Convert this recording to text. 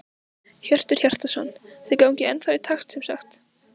Hjörtur Hjartarson: Þið gangið ennþá í takt sem sagt?